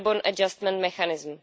carbon adjustment mechanism.